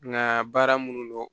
Nka baara minnu dɔn